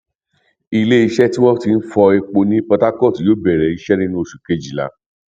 iléeṣẹ tí wọn ti ń fọ epo ní portharcourt yóò bẹrẹ iṣẹ nínú oṣù kejìlá